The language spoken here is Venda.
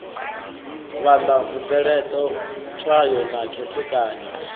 vhala mupeleṱo tswayo na khethekanyo